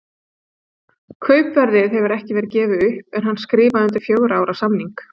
Kaupverðið hefur ekki verið gefið upp en hann skrifaði undir fjögurra ára samning.